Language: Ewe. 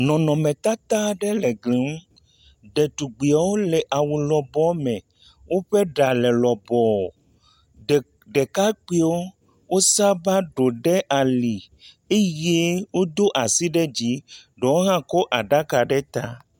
Nɔnɔmetata aɖe le gli ŋu. Detugbiwo le awu lɔbɔɔ me. Woƒe ɖa le lɔbɔɔ, ɖe, ɖekakpuiwo wosaba ɖo ɖe ali eye woɖo asi ɖe dzii, ɖewo hã kɔ aɖaka ɖe ta.